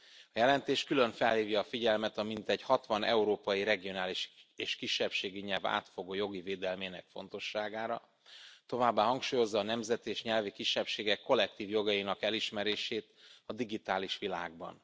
A jelentés külön felhívja a figyelmet a mintegy 60 európai regionális és kisebbségi nyelv átfogó jogi védelmének fontosságára, továbbá hangsúlyozza a nemzeti és nyelvi kisebbségek kollektív jogainak elismerését a digitális világban.